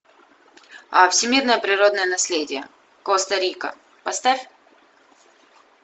а всемирное природное наследие коста рика поставь